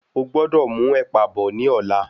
O gbọ́dọ̀ mú ẹ̀pà bọ̀ ní ọ̀la.